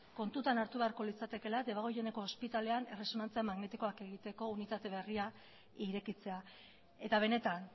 kontutan hartu beharko litzatekeela debagoieneko ospitalean erresonantzia magnetikoak egiteko unitate berria irekitzea eta benetan